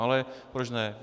Ale proč ne.